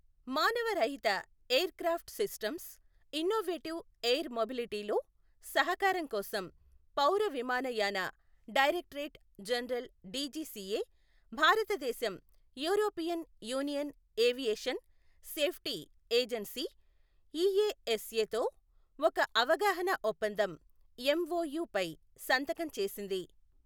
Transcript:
మానవరహిత aircraft systems, innovative air మొబిలిటీలో సహకారం కోసం పౌరవిమాన యాన డైరెక్టరేట్ జనరల్ డీజీసీఏ భారతదేశం European union aviation safety agency EASA తో ఒక అవగాహన ఒప్పందం ఎంఓయు పై సంతకం చేసింది.